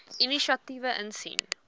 inisiatiewe insien